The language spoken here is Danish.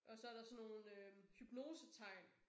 Og så der sådan nogle øh hypnosetegn